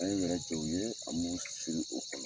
An ye wɛrɛ jɔ u ye an b'u siri o kɔnɔ.